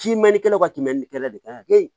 Simɛnikɛlaw ka tɛmɛ nin kɛlɛ de kan kɛ